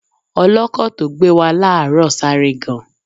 Ọlọ́kọ̀ tó gbé wa láàárọ̀ sáré gan.